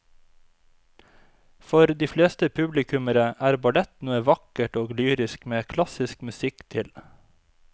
For de fleste publikummere er ballett noe vakkert og lyrisk med klassisk musikk til.